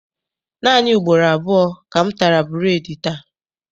Naanị ugboro abụọ ka m tara bureedi taa.